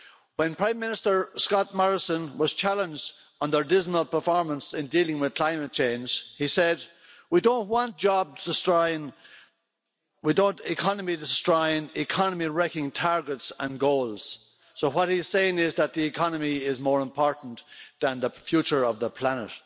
When Prime Minister Scott Morrison was challenged on his country's dismal performance in dealing with climate change, he said we don't want job destroying, economy destroying, economy wrecking targets and goals'. What he is saying is that the economy is more important than the future of the planet.